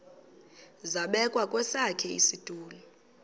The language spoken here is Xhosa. zabekwa kwesakhe isitulo